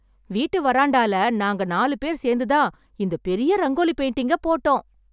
வீட்டு வராண்டால, நாங்க நாலு பேர் சேர்ந்துதான், இந்த பெரிய ரங்கோலி பெயிண்டிங்கை, போட்டோம்.